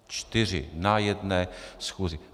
Čtyři na jedné schůzi.